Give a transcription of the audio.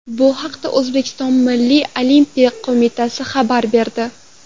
Bu haqda O‘zbekiston Milliy Olimpiya qo‘mitasi xabar berdi .